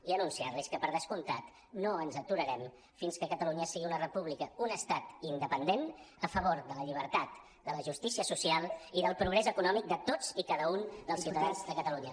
i anunciar·los que per descomptat no ens aturarem fins que catalunya sigui una república un estat in·dependent a favor de la llibertat de la justícia social i del progrés econòmic de tots i cada un dels ciutadans de catalunya